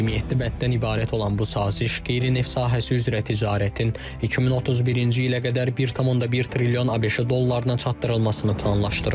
27 bənddən ibarət olan bu saziş qeyri-neft sahəsi üzrə ticarətin 2031-ci ilə qədər 1.1 trilyon ABŞ dollarına çatdırılmasını planlaşdırır.